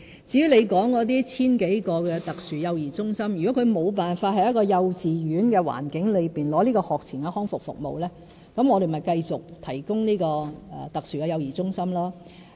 至於你提及的 1,000 多名輪候特殊幼兒中心的小朋友，如果小孩無法在幼稚園的環境中獲得學前康復服務，我們便會繼續提供特殊幼兒中心。